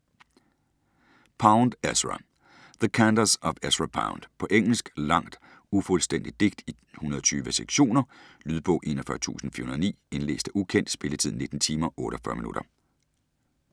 Pound, Ezra: The cantos of Ezra Pound På engelsk. Langt ufuldstændigt digt i 120 sektioner. Lydbog 41409 Indlæst af ukendt Spilletid: 19 timer, 48 minutter.